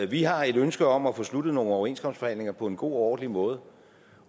vi har et ønske om at få sluttet nogle overenskomstforhandlinger på en god og ordentlig måde